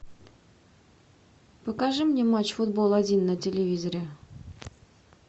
покажи мне матч футбол один на телевизоре